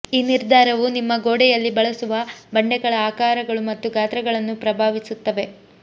ಈ ನಿರ್ಧಾರವು ನಿಮ್ಮ ಗೋಡೆಯಲ್ಲಿ ಬಳಸುವ ಬಂಡೆಗಳ ಆಕಾರಗಳು ಮತ್ತು ಗಾತ್ರಗಳನ್ನು ಪ್ರಭಾವಿಸುತ್ತದೆ